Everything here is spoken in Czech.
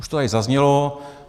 Už to tady zaznělo.